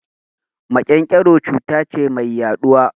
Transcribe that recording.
Maƙen-ƙero cuta ce mai yaɗuwa